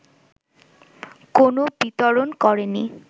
কোনো বিতরণ করেনি